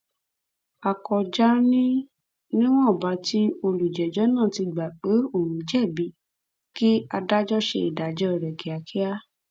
láyé àtijọ tí kò sí ìtọjú tó ti ojú kò sì tì í là dáadáa ni wọn ń kú